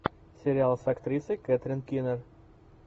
сериал с актрисой кэтрин кинер